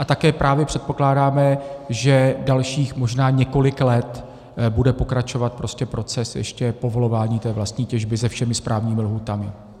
A také právě předpokládáme, že dalších možná několik let bude pokračovat prostě proces ještě povolování té vlastní těžby se všemi správnými lhůtami.